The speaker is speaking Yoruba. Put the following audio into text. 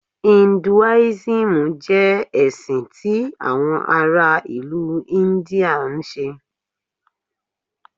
Hinduism jẹ ẹsin ti awọn ara ilu India nṣe.